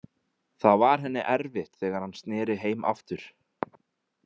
Það var henni erfitt þegar hann sneri heim aftur.